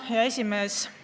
Hea esimees!